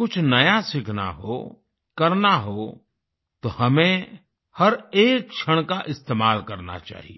कुछ नया सीखना हो करना हो तो हमें हर एक क्षण का इस्तेमाल करना चाहिए